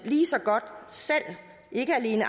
ligeså godt selv ikke alene